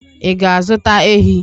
Ị ga-azụta ehi?